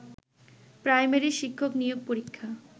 primary শিক্ষক নিয়োগ পরীক্ষা